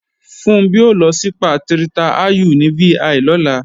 Funbí ó lọ sípà Tirta Ayu ní VI lọ́la